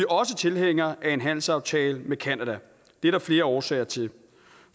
også tilhængere af en handelsaftale med canada det er der flere årsager til